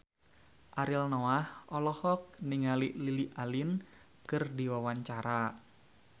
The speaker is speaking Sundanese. Ariel Noah olohok ningali Lily Allen keur diwawancara